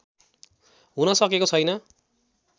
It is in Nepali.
हुन सकेको छैन